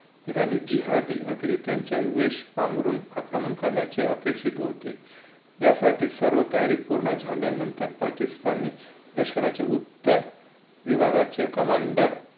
गाणे जिहादी त्यांच्या वेश पांगरुन आक्रमण करण्याचे अपेक्षित होते यासाठी सर्व तयारी पूर्ण झाल्यानंतर पाकिस्तान मे लष्कराचे उत्तर विभागाचे कमांडर